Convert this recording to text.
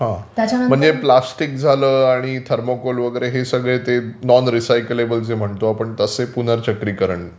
म्हणजे प्लास्टिक झालं आणि थर्मोकोल वगैरे हे सगळे जे नॉन रिसायकलेबल जे म्हणतो आपण तसे पुनर्चक्रीकरण